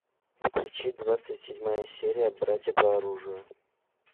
включи двадцать седьмая серия братья по оружию